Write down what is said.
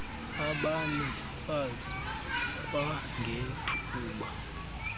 abane fas kwangethuba